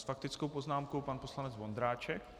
S faktickou poznámkou pan poslanec Vondráček.